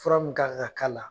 Fura mun ka ka kala la